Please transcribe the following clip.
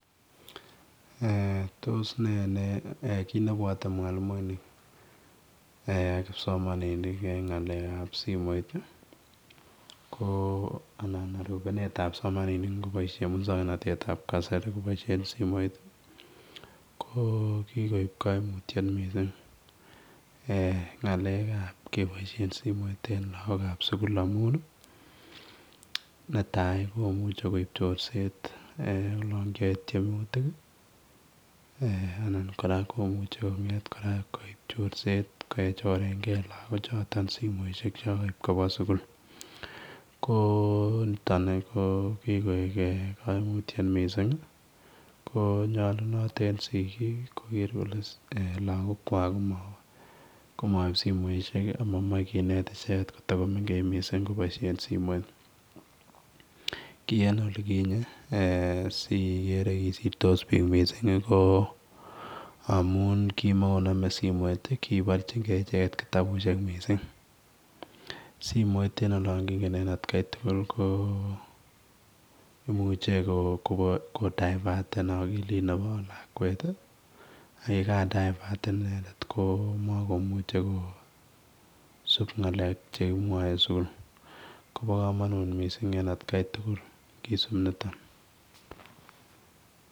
Eeh tos nee eeh kiit nebwate mwalimuinik eeh kipsomaninik eng ab simoit ii anan arupeneet ab simoit kipsomaninik ingoibaishen musangnatet ab kasari koboisien simoit ko kikoob kaimutiet missing eeh ngaleek anmb kebaisheen simoit lagook ab sugul amuun ii netai komuchei koib chorset olaan kiyae tiemutiik ii anan kora komuchei koib chorset kechorengei lagook chotoon simoisiek che kaib kobwaa sugul ko nitoon ii ko kigoek kaimutiet missing ii ko nyalunaat eng sikisiet koger kole lagook kwaak koma in simoisiek ak mamachei kinet ichegeet kotakomengech missing kobaisheen simoit ki en olikinyei sikere kisirtos biik missing ko amuun kii makoname simoit ii kibarjiin gei ichegeet kitabusiek missing simoit ii en olaan kingeen en at Kai tugul ko imuuchei ko diverten akilit nebo lakwet ak ye ka diverten inendet ko makomuchei kosupp ngalek chekimwae en sugul kobaa kamanuut missing en at Kai tugul kisuup nitoon.